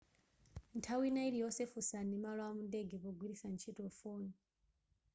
nthawi ina iliyonse funsani malo amundege pogwiritsa ntchito foni